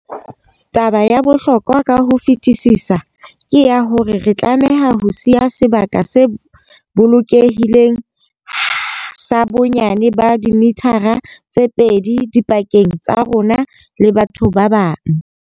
Taba ya bohlokwa ka ho fetisisa ke ya hore re tlameha ho siya sebaka se bolokehileng sa bonyane ba dimithara tse pedi dipakeng tsa rona le batho ba bang.